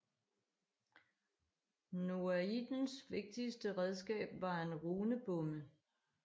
Noaidens vigtigste redskab var en runebomme